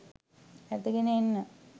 ඇදගෙන එන්න